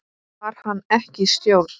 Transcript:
Var hann ekki í stjórn?